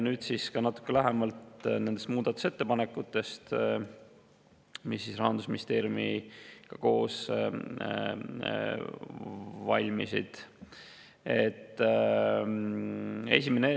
Nüüd siis natuke lähemalt nendest muudatusettepanekutest, mis koos Rahandusministeeriumiga valmisid.